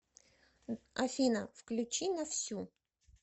афина включи на всю